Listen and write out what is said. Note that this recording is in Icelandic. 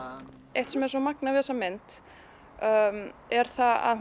eitt sem er svo magnað við þessa mynd er að